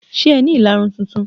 Ṣé ẹ ni ìlarun tuntun?